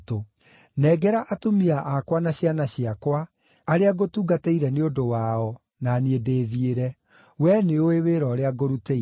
Nengera atumia akwa na ciana ciakwa, arĩa ngũtungatĩire nĩ ũndũ wao, na niĩ ndĩthiĩre. Wee nĩũũĩ wĩra ũrĩa ngũrutĩire.”